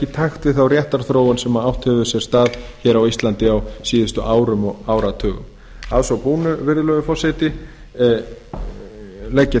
takt við þá réttarþróun sem átt hefur sér stað hér á íslandi á síðustu árum og áratugum að svo búnu virðulegur forseti legg ég